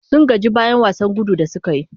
Sun gaji bayan wasan gudun da suka yi.